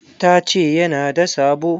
Ta ce ya na da sabo.